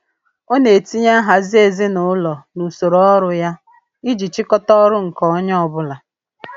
Ọ na-etinye nhazi ezinaụlọ n'usoro ọrụ ya iji chịkọta ọrụ nke onye ọbụla.